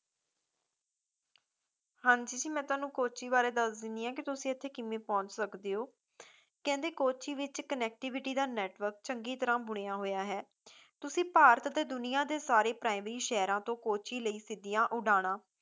ਹਾਂਜੀ ਜੀ ਮੈਂ ਤੁਹਾਨੂੰ ਕੋਚੀ ਬਾਰੇ ਦੱਸ ਦੇਣੀ ਆ ਕੇ ਤੁਸੀ ਇੱਥੇ ਕਿਵੇਂ ਪਹੁੰਚ ਸਕਦੇ ਹੋ ਕਹਿੰਦੇ ਕੋਚੀ ਵਿੱਚ connectivity ਦਾ network ਚੰਗੀ ਤਰ੍ਹਾਂ ਬੁਣਿਆ ਹੋਇਆ ਹੈ ਤੁਸੀ ਭਾਰਤ ਤੇ ਦੁਨੀਆਂ ਦੇ ਸਾਰੇ ਪ੍ਰਾਇਮੀ ਸ਼ਹਿਰਾਂ ਤੋਂ ਕੋਚੀ ਲਈ ਸਿੱਧੀਆਂ ਉਡਾਣਾਂ